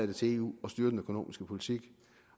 det til eu at styre den økonomiske politik